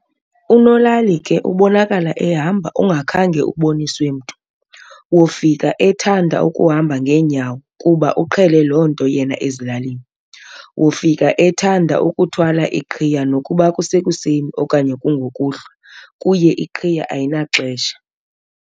unolali ke ubonakala ehamba ungakhange uboniswe mntu, wofika ethanda ukuhamba nghenyawo kuba ugqele lonto yena ezilalini, wofika ethanda ukuthwala iqhiya nokuba kusekuseni okanye kungokuhlwa kuye iqhiya ayinaxesha.